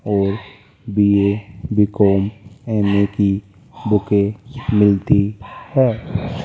और B A B com M A की बुकें मिलती है।